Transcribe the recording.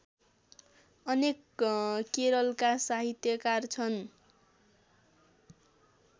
अनेक केरलका साहित्यकार छन्